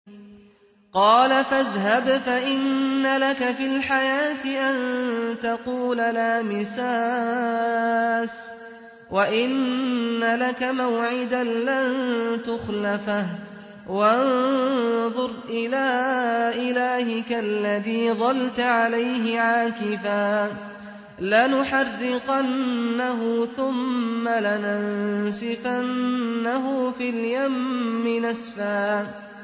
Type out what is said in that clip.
قَالَ فَاذْهَبْ فَإِنَّ لَكَ فِي الْحَيَاةِ أَن تَقُولَ لَا مِسَاسَ ۖ وَإِنَّ لَكَ مَوْعِدًا لَّن تُخْلَفَهُ ۖ وَانظُرْ إِلَىٰ إِلَٰهِكَ الَّذِي ظَلْتَ عَلَيْهِ عَاكِفًا ۖ لَّنُحَرِّقَنَّهُ ثُمَّ لَنَنسِفَنَّهُ فِي الْيَمِّ نَسْفًا